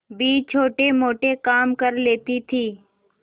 भी छोटेमोटे काम कर लेती थी